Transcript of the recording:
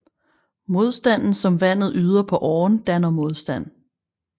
Modstanden som vandet yder på åren danner modstand